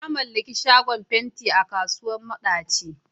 Na mallaki shagon fenti a kasuwar madaci.